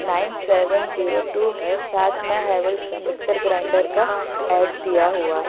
Nine seven zero two है साथ में हेवल्स का मिक्सर ग्राइंडर का ऐड दिया हुआ है।